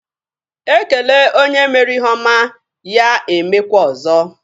E kele onye mere ihe ọma, ya e mekwa ọzọ.